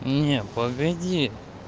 не погоди